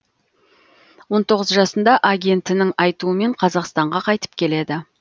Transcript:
он тоғыз жасында агентінің айтуымен қазақстанға қайтып келеді